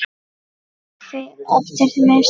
Kaffi eftir messu.